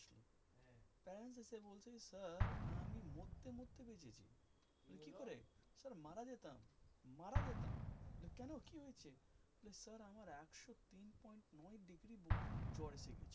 parents এসে বলচ্ছে sir আমি মুততে মুততে বেঝেছি কি করে স্যার মারা যেতাম, মারা যেতাম কেনো কি হয়েছে বলে স্যার আমার একশো তিন পয়েন্ট নয় ডিগ্রি জ্বর এসে গেছে